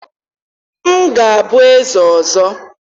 m ga-abụ eze ọzọ!